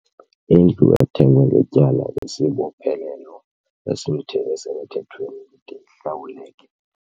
Indlu ethengwe ngetyala isibophelelo esisemthethweni ide ihlawuleke.